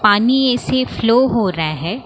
पानी ऐसे फ्लो हो रहा है।